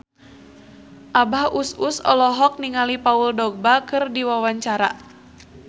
Abah Us Us olohok ningali Paul Dogba keur diwawancara